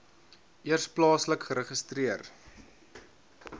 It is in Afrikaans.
eers plaaslik geregistreer